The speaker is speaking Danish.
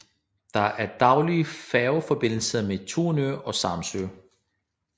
Der er daglige færgeforbindelser med Tunø og Samsø